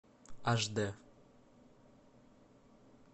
аш д